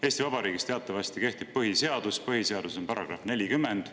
Eesti Vabariigis kehtib teatavasti põhiseadus ja põhiseaduses on § 40.